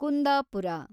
Kundapura